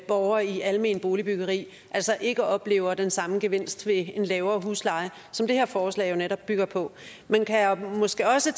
borgere i alment boligbyggeri altså ikke oplever den samme gevinst ved en lavere husleje som det her forslag jo netop bygger på man kan måske også